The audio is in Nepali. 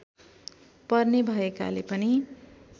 पर्ने भएकाले पनि